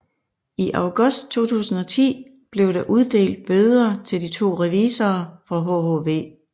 I august 2010 blev der uddelt bøder til de to revisorer fra hhv